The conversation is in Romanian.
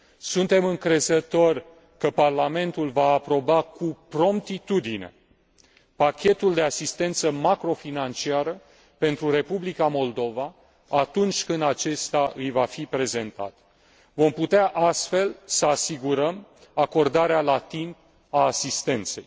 Suntem încrezători că Parlamentul va aproba cu promptitudine pachetul de asistență macrofinanciară pentru Republica Moldova, atunci când acesta îi va fi prezentat. Vom putea astfel să asigurăm acordarea la timp a asistenței.